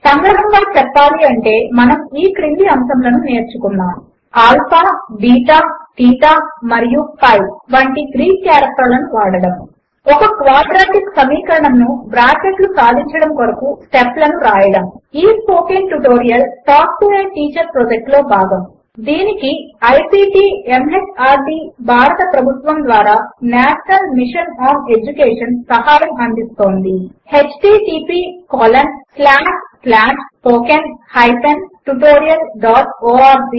సంగ్రహముగా చెప్పాలి అంటే మనము ఈ క్రింది అంశములు నేర్చుకున్నాము ఆల్ఫా బీటా తీటా మరియు పై వంటి గ్రీక్ కారెక్టర్లను వాడడము ఒక క్వాడ్రాటిక్ సమీకరణమును బ్రాకెట్లు సాధించడము కొరకు స్టెప్ లను వ్రాయడము ఈ spoken tutorial talk to a teacher project లో భాగము దీనికి ఐసీటీ ఎంహార్డీ భారత ప్రభుత్వము ద్వారా నేషనల్ మిషన్ ఆన్ ఎడ్యుకేషన్ సహాయం అందిస్తోంది httpspoken tutorialorg